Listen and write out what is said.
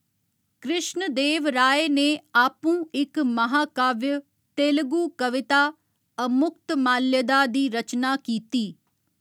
कृश्ण देव राय ने आपूं इक महाकाव्य तेलुगु कविता अमुक्तमाल्यदा दी रचना कीती।